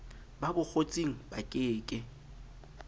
ba bokgotsing ba ke ke